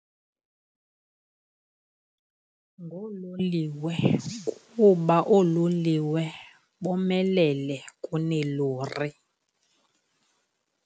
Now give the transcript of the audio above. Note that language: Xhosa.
Ngoololiwe kuba oololiwe bomelele kuneelori.